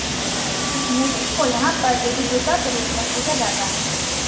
उस मूर्ति को यहां पर देवी दुर्गा के रूप में पूजा जाता है